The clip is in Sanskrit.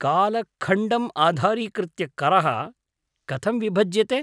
कालखण्डम् आधारीकृत्य करः कथं विभज्यते?